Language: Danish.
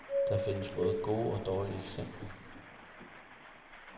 Der findes både gode og dårlige eksempler.